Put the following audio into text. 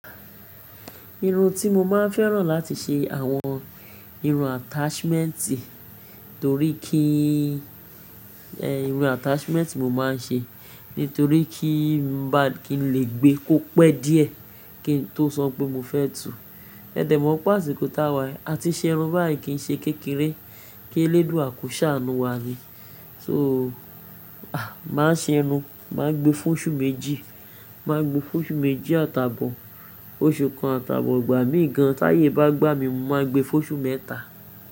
Irun tí mo máa ń fẹ́ràn láti ṣe àwọn irun attachment torí kí í, ẹ́ irun attachment mo máa ń ṣe nítorí kí n ba kí n lè gbé kó pẹ́ díẹ̀ kí n tó sọ pé mo fẹ́ tu. Ẹ̀dẹ̀ mọ́ páàsì kó táwà, a ti ṣe irun báyìí kí i ṣe kékeré kí e lé dù à koṣà ànu wa ní. So, a! Máa ṣe irun, màá gbe fóóṣú méjì, màá gbe fóóṣú méjì àtàbọ̀ oṣù kan àtàbọ̀ igbà mí gan. Táyè bá gbà mí, màá gbe fóóṣú mẹ́ta.